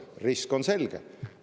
Risk on selge.